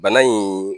Bana in